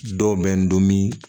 Dɔw bɛ n to min